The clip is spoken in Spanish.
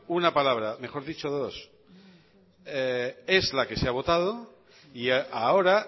una palabra mejor dicho dos es la que se ha votado y ahora